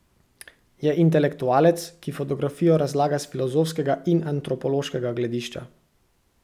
Je intelektualec, ki fotografijo razlaga s filozofskega in antropološkega gledišča.